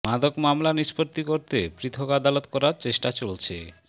মাদক মামলা নিষ্পত্তি করতে পৃথক আদালত করার চেষ্টা চলছে